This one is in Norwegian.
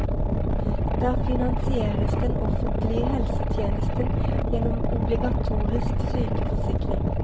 Der finansieres den offentlige helsetjenesten gjennom obligatorisk sykeforsikring.